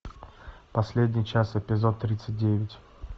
последний час эпизод тридцать девять